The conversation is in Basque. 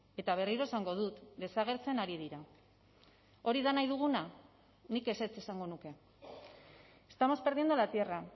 eta berriro esango dut desagertzen ari dira hori da nahi duguna nik ezetz esango nuke estamos perdiendo la tierra